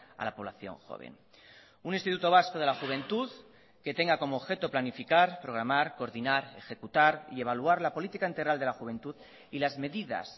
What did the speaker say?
a la población joven un instituto vasco de la juventud que tenga como objeto planificar programar coordinar ejecutar y evaluar la política integral de la juventud y las medidas